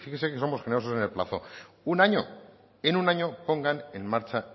fíjese que somos generosos en el plazo un año en un año pongan en marcha